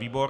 Výbor?